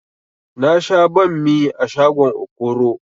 Na sha banmi a shagon okoro